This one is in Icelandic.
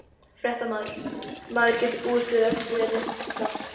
Fréttamaður: Maður getur búist við öllu hérna uppfrá?